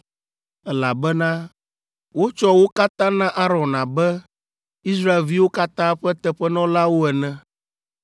elabena wotsɔ wo katã na Aron abe Israelviwo katã ƒe teƒenɔlawo ene.